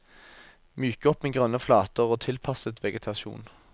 Myk opp med grønne flater og tilpasset vegetasjon.